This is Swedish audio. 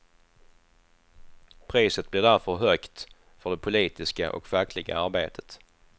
Priset blir därför högt för det politiska och fackliga arbetet.